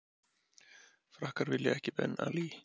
Frakkar vilja ekki Ben Ali